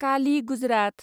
Kali Gujarat